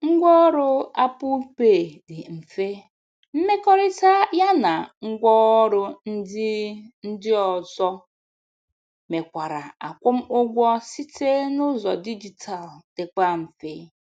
Ngwa ọrụ Apple pay dị mfe, mmekọrịta ya na ngwa ọrụ ndị ndị ozo mekwara akwụmụụgwọ site n'ụzọ dijitalu dịkwa mfe.